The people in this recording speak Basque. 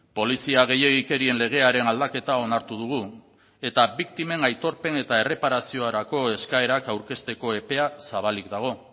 polizia gehiegikerien legearen aldaketa onartu dugu eta biktimen aitorpen eta erreparaziorako eskaerak aurkezteko epea zabalik dago